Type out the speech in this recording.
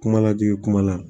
Kuma lajigin kuma la